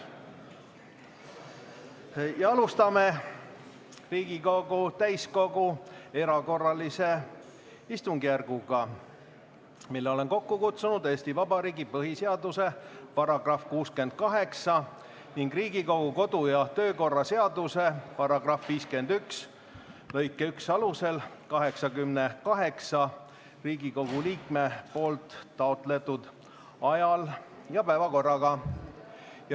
Alustame Riigikogu täiskogu erakorralist istungjärku, mille olen kokku kutsunud Eesti Vabariigi põhiseaduse § 68 ning Riigikogu kodu- ja töökorra seaduse § 51 lõike 1 alusel 88 Riigikogu liikme poolt taotletud ajal ja päevakorraga.